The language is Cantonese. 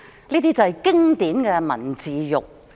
這是經典的文字獄。